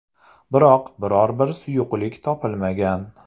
Biroq, biror bir suyuqlik topilmagan.